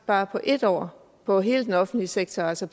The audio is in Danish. bare på et år på hele den offentlige sektor altså